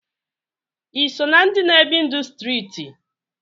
Iso na ndi na ebi ndụ striti?